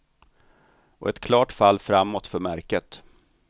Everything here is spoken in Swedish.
Och ett klart fall framåt för märket.